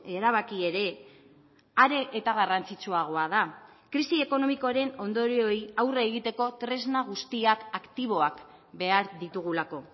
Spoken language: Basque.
erabaki ere are eta garrantzitsuagoa da krisi ekonomikoaren ondorioei aurre egiteko tresna guztiak aktiboak behar ditugulako